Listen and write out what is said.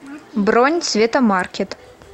бронь цветомаркет